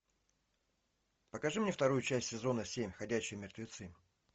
покажи мне вторую часть сезона семь ходячие мертвецы